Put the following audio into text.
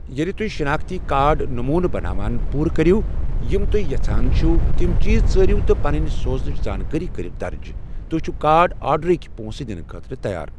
ییٚلہِ تُہۍ شِناختی کارڈ نموٗنہٕ بناون پوٗرٕ کٔرِو، یِم تُہۍ یژھان چھِوٕ تِم چیٖز ژٲروٕ تہٕ پنٕنۍ سوزنٕچ زانٛکٲری کروٕ درٕج، تُہۍ چھِو کارڈ آرڈرٕکۍ پونٛسہٕ دِنہٕ خٲطرٕ تیار۔